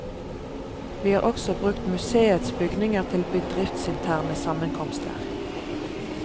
Vi har også brukt museets bygninger til bedriftsinterne sammenkomster.